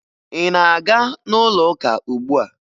Ị na-aga n'ụlọụka ugbu a?